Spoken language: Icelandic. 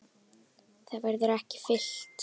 Það verður ekki fyllt.